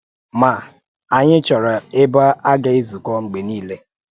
Ma, anyị chọ́rọ̀ ebe a gà-ezukọ mgbe niile.